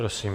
Prosím.